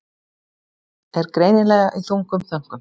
Er greinilega í þungum þönkum.